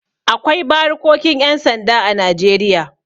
Akwai barikokin 'yan sanda a Najeriya.